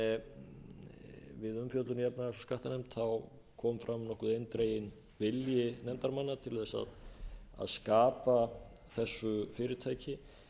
gagnrýni við umfjöllun í efnahags og skattanefnd kom fram nokkuð eindreginn vilji nefndarmanna til þess að skapa þessu fyrirtæki